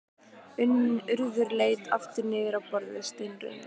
Urður leit aftur niður á borðið, steinrunnin.